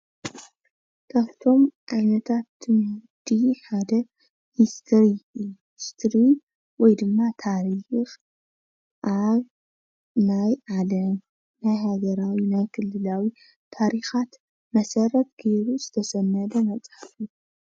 ካፍቶም ዓይነታት ትምህርቲ ሓደ ሂስትሪ እዩ። ሂስትሪ ወይ ድማ ታሪኽ ኣብ ናይ ዓለም ናይ ሃገራዊ ና ክልላዊ ታሪኻት መሰረት ጌሩ ዝተሰነደ መፅሓፍ እዩ ።